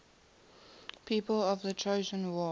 people of the trojan war